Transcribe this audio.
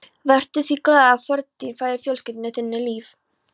Vertu því glaður að fórn þín færði fjölskyldu þinni líf.